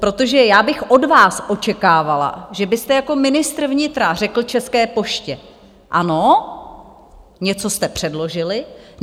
Protože já bych od vás očekávala, že byste jako ministr vnitra řekl České poště: Ano, něco jste předložili.